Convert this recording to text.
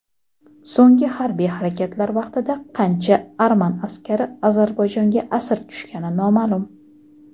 So‘nggi harbiy harakatlar vaqtida qancha arman askari Ozarbayjonga asir tushgani noma’lum.